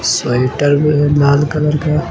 Sweater में है लाल कलर का।